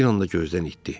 bir anda gözdən itdi.